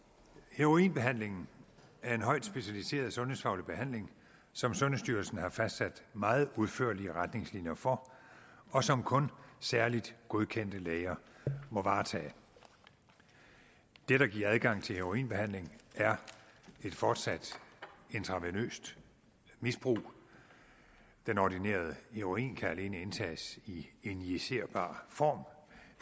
heroinbehandling er en højt specialiseret sundhedsfaglig behandling som sundhedsstyrelsen har fastsat meget udførlige retningslinjer for og som kun særligt godkendte læger må varetage det der giver adgang til heroinbehandling er et fortsat intravenøst misbrug den ordinerede heroin kan alene indtages i injicerbar form